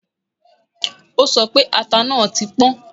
O sọ pé ata náà ti pọ́